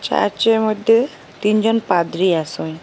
চার্চের মইধ্যে তিনজন পাদরি আসে।